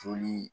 Joli